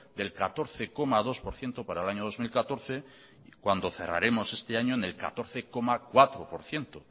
del catorce coma dos por ciento para el año dos mil catorce cuando cerraremos este año en el catorce coma cuatro por ciento